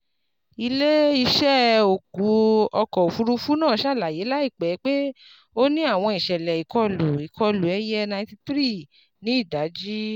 Ile-iṣẹ ọkọ ofurufu naa ṣalaye laipẹ pe o ni awọn iṣẹlẹ ikọlu ikọlu ẹiyẹ ninety three ni idaji